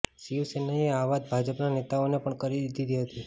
શિવસેનાએ આ વાત ભાજપના નેતાઓને પણ કરી દીધી હતી